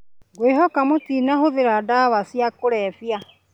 Ngwĩhoka mũtinatũmĩra ndawa cia kũrevya